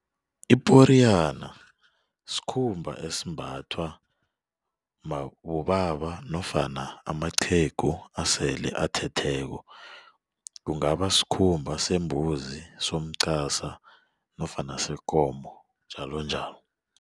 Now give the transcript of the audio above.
Iporiyana sikhumba esimbathwa bobaba nofana amaqhegu asele athetheko kungaba sikhumba sembuzi somqasa nofana sekomo njalonjalo.